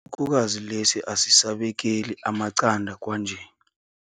Isikhukhukazi lesi asisabekeli amaqanda kwanje.